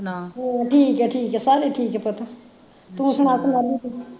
ਠੀਕ ਐ ਠੀਕ ਐ ਸਾਰੇ ਠੀਕ ਐ ਪੁੱਤ ਤੂੰ ਸੁਣਾ